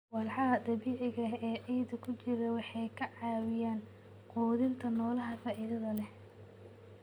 Walxaha dabiiciga ah ee ciidda ku jira waxay ka caawiyaan quudinta noolaha faa'iidada leh.